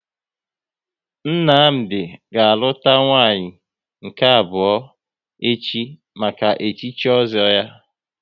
Nnamdi ga aluta nwanyị nke abụọ echi maka echichi ozo ya